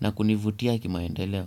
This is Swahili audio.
na kunivutia kimaendeleo.